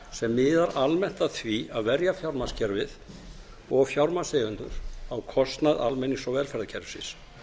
sem miðar almennt að því að verja fjármagnskerfið og fjármagnseigendur á kostnað almennings og velferðarkerfisins